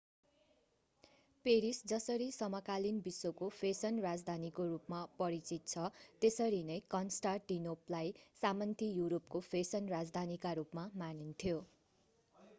Paris जसरी समकालीन विश्वको फेसन राजधानीको रूपमा परिचित छ त्यसरी नै कन्स्टान्टिनोपलाई सामन्ती युरोपको फेसन राजधानीका रूपमा मानिन्थ्यो